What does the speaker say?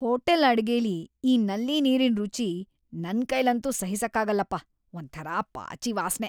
Hotel ಅಡ್ಗೆಲಿ ಈ ನಲ್ಲಿ ನೀರಿನ್ ರುಚಿ ನನ್ಕೈಲಂತೂ ಸಹಿಸಕ್ಕಾಗಲ್ಲಪ, ಒಂಥರ ಪಾಚಿ ವಾಸ್ನೆ.